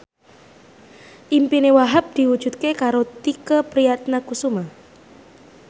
impine Wahhab diwujudke karo Tike Priatnakusuma